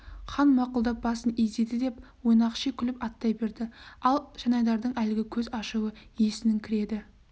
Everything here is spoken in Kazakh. хан мақұлдап басын изеді деп ойнақши күліп аттай берді ал жанайдардың әлгі көз ашуы есінің кіреді